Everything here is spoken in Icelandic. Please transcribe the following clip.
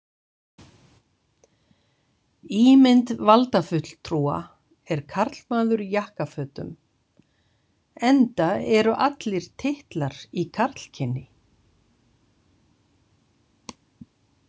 Ímynd valdafulltrúa er karlmaður í jakkafötum enda eru allir titlar í karlkyni.